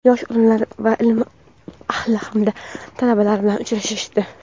yosh olimlar va ilm ahli hamda talabalar bilan uchrashdi.